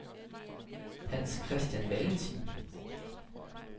Hans-Christian Valentin